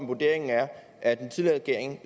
vurderingen er at den tidligere regering